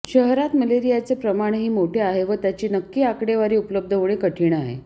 शहरात मलेरियाचे प्रमाणही मोठे आहे व त्याची नक्की आकडेवारी उपलब्ध होणे कठीण आहे